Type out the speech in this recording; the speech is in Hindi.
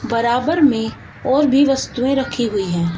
बराबर में और भी वस्तुएं रखी हुई है।